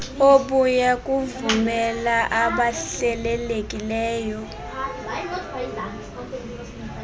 obuya kuvumela abahlelelekileyo